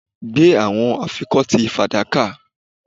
Gbe awọn afikọti fadaka